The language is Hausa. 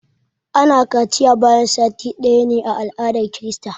ana kaciya bayan sati ɗaya ne a aladar krista